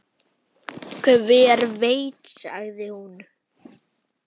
Hver veit sagði hún.